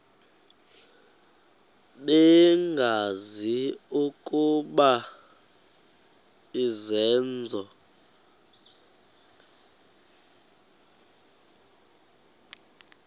bengazi ukuba izenzo